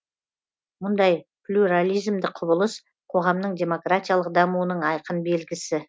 мұндай плюрализмдік құбылыс қоғамның демократиялық дамуының айқын белгісі